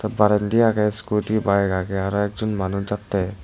barendi agey skooti bike agey aro ekjon manuj jattey.